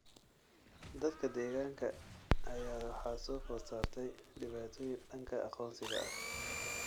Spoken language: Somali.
Dadka deegaanka ayaa waxaa soo food saartay dhibaatooyin dhanka aqoonsiga ah.